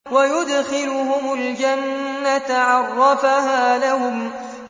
وَيُدْخِلُهُمُ الْجَنَّةَ عَرَّفَهَا لَهُمْ